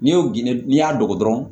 N'i y'o gindo n'i y'a dogo dɔrɔn